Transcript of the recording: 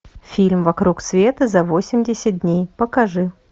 фильм вокруг света за восемьдесят дней покажи